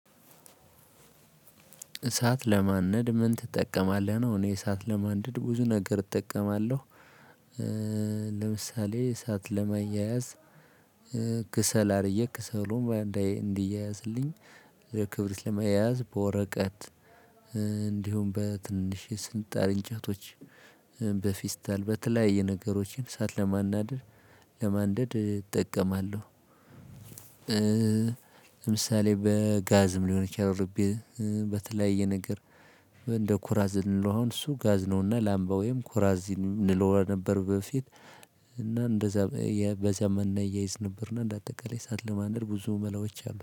እሳት ለማንደድ ምን ትጠቀማለህ ነው? እኔ እሳት ለማንደድ ብዙ ነገር እጠቀማለው። ለምሳሌ እሳት ለማያያዝ። ክሰል አድርጌ ክሰሉን እንዲያያዝልኝ ለክብርት ለመያዝ በወረቀት። እንዲሁም በትንሽ የስንጣር እንጨቶች በፊስታል በተለያየ ነገሮችን እሳት ለማንደድ እጠቀማለው። ለምሳሌ በጋዝም ሊሆን ይችላል። በተለያየ ነገር እንደ ኩራዝ ልንለው አሁን እሱ ጋዝ ነውና ላምባ ወይም ኩራዝ እንለው ነበር። በፊት እና እንደዛ በዛም እናየይዝ ነበርና። እንደ አጠቃላይ እሳት ለማንደድ ብዙ መላዎች አሉ